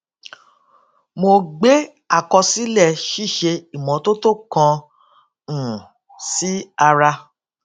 mo gbé àkọsílè ṣíṣe ìmótótó kan um sí ara